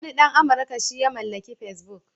Wani ɗan Amurka shi ya mallaki Facebook.